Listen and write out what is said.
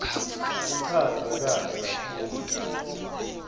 ichazwe kahle kakhulu